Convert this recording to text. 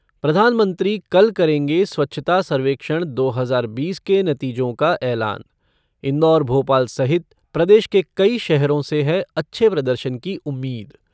प्रधानमंत्री कल करेंगे स्वच्छता सर्वेक्षण दो हजार बीस के नतीजों का ऐलान, इंदौर भोपाल सहित प्रदेश के कई शहरों से है अच्छे प्रदर्शन की उम्मींद